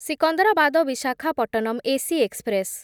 Secunderabad Visakhapatnam AC express